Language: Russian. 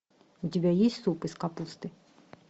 у тебя есть суп из капусты